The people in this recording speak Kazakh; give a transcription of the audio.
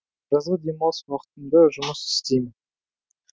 жазғы демалыс уақытымда жұмыс істеймін